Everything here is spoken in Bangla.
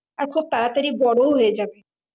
আর খুব তাড়াতাড়ি বোরো হয়ে যাবে